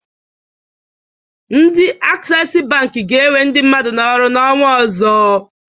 Ndị Aksesi Bankị ga-ewe ndị mmadụ n'ọrụ n'ọnwa ọzọ.